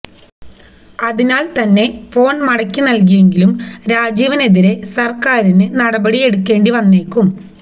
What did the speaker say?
അതിനാൽ തന്നെ ഫോൺ മടക്കി നൽകിയെങ്കിലും രാജീവനെതിരെ സർക്കാരിന് നടപടി എടുക്കേണ്ടി വന്നേക്കും